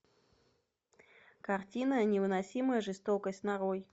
картина невыносимая жестокость нарой